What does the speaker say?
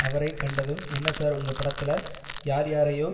அவரை கண்டதும் என்ன சார் உங்க படத்துல யார் யாரையோ